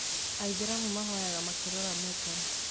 Aithĩramu mahoyaga makĩroraga Mecca